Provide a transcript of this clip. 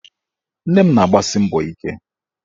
Nne m na-agbasi mbọ ike